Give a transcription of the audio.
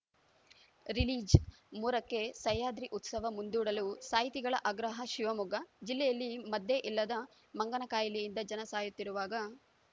ರಿಲೀಜ ಮೂರಕ್ಕೆಸಹ್ಯಾದ್ರಿ ಉತ್ಸವ ಮುಂದೂಡಲು ಸಾಹಿತಿಗಳ ಆಗ್ರಹ ಶಿವಮೊಗ್ಗ ಜಿಲ್ಲೆಯಲ್ಲಿ ಮದ್ದೇ ಇಲ್ಲದ ಮಂಗನ ಕಾಯಿಲೆಯಿಂದ ಜನ ಸಾಯುತ್ತಿರುವಾಗ